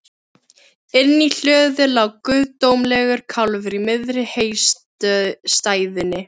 Inni í hlöðu lá guðdómlegur kálfur í miðri heystæðunni.